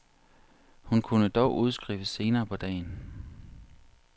Hun kunne dog udskrives senere på dagen.